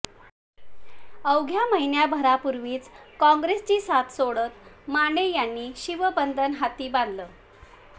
अवघ्या महिनाभरापूर्वीच काँग्रेसची साथ सोडत माने यांनी शिवबंधन हाती बांधलं